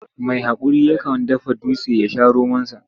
Mai haƙuri yakan dafa dutse ya sha romonsa.